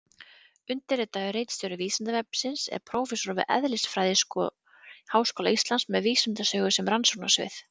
Undirritaður ritstjóri Vísindavefsins er prófessor við eðlisfræðiskor Háskóla Íslands með vísindasögu sem rannsóknasvið.